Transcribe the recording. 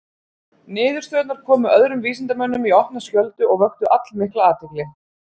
Niðurstöðurnar komu öðrum vísindamönnum í opna skjöldu og vöktu allmikla athygli.